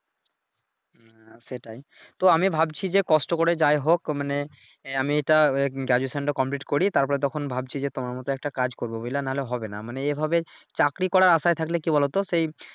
হ্যাঁ সেটাই তো আমি ভাবছি যে কষ্ট করে যাই হোক মানে এহ আমি এইটা Graduation টা কমপ্লিট করি তারপরে তখন ভাবছি যে তোমার মত একটা কাজ করবো বুঝলা নাহলে হবে নাহ মানে এইভাবে চাকরি করার আশায় থাকলে কি বলোতো সেই।